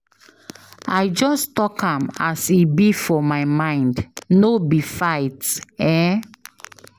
I just dey tok am as e be for my mind, no be fight. um